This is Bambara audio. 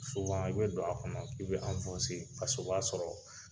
i bɛ don a kɔnɔ, i be , o b'a sɔrɔ